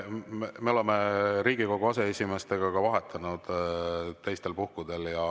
Me oleme Riigikogu aseesimeestega vahetanud ka teistel puhkudel.